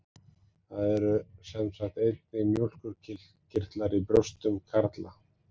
Það eru sem sagt einnig mjólkurkirtlar í brjóstum karla.